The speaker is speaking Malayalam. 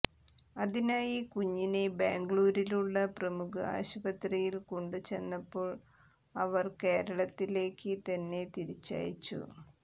അതിനായി കുഞ്ഞിനെ ബാംഗ്ലൂരിലുള്ള പ്രമുഖ ആശുപത്രിയിൽ കൊണ്ടുചെന്നപ്പോൾ അവർ കേരളത്തിലേക്ക് തന്നെ തിരിച്ചയച്ചു